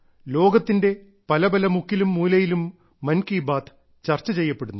ലോകത്തിന്റെ പല പല മുക്കിലും മൂലയിലും മൻകി ബാത്ത് ചർച്ചചെയ്യപ്പെടുന്നു